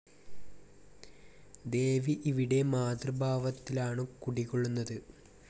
ദേവി ഇവിടെ മാതൃഭാവത്തിലാണു കുടികൊള്ളുന്നത്.